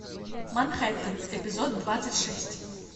манхэттен эпизод двадцать шесть